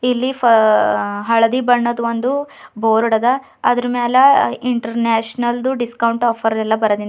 ಇಲ್ಲಿ ಫ ಆ ಹಳದಿ ಬಣ್ಣದ್ ಒಂದು ಬೋರ್ಡ್ ಅದ ಅದ್ರ ಮ್ಯಾಲ ಇಂಟರ್ನ್ಯಾಷನಲ್ ದು ಡಿಸ್ಕೌಂಟ್ ಆಫರ್ ಎಲ್ಲ ಬರ್ದಿಂದ್ ಅ --